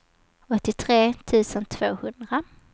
åttiotre tusen tvåhundra